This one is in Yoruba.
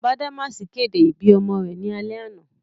Badamasi kede ibi ọmọ rẹ ni alẹ ana.